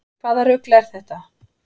Hvaða rugl er þetta?